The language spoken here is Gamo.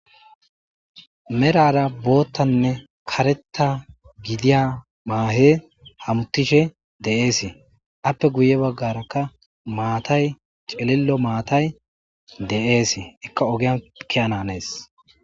Merara boottanne karetta gidiya maahe hamuttishe de'eesii appe guye baggarakka maatay celillo maatay de'ees ekka ogian kiyananees.